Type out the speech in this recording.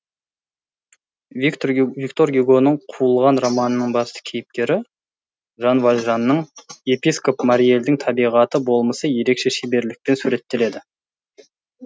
виктор гюгоның қуылған романының басты кейіпкері жан вальжанның епископ мириэльдің табиғаты болмысы ерекше шеберлікпен суреттеледі